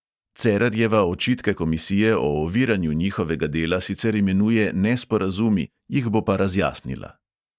Cerarjeva očitke komisije o oviranju njihovega dela sicer imenuje nesporazumi, jih bo pa razjasnila.